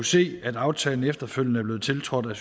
se at aftalen efterfølgende er blevet tiltrådt af